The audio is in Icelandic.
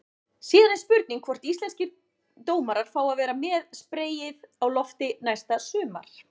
Síðan er spurning hvort íslenskir dómarar fái að vera með spreyið á lofti næsta sumar?